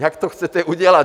Jak to chcete udělat?